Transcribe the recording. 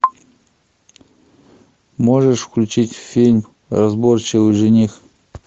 можешь включить фильм разборчивый жених